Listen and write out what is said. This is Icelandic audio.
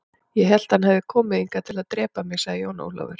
Ég hélt að hann hefði komið hingað til að drepa mig, sagði Jón Ólafur.